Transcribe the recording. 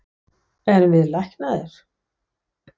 Erum við læknaðir?